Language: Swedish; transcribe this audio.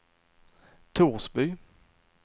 Torsby